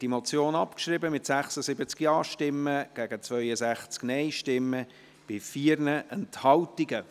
Sie haben die Motion abgeschrieben, mit 76 Ja- gegen 62 Nein-Stimmen bei 4 Enthaltungen.